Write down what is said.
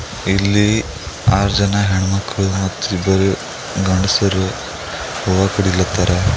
ಇಲ್ಲಿ ಆರ್ ಜನ ಹೆಣ್ಣಮಕ್ಕಳು ಮತ್ತು ಇಬ್ಬರ್ ಗಂಡ್ಸರು ಹೂವ ಕಡಿಲತ್ತಾರ.